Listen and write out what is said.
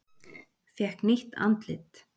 Fékk nýtt andlit